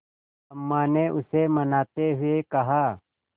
अम्मा ने उसे मनाते हुए कहा